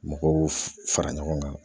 Mɔgɔw fara ɲɔgɔn kan